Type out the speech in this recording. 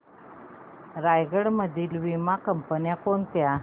रायगड मधील वीमा कंपन्या कोणत्या